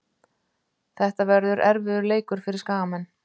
Þetta verður erfiður leikur fyrir Skagamenn.